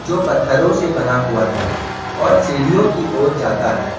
जो पत्थरों से बना हुआ है और सीढ़ियों की ओर जाता है।